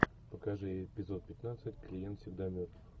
покажи эпизод пятнадцать клиент всегда мертв